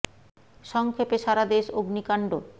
স ং ক্ষে পে সা রা দে শ অগ্নিকাণ্ড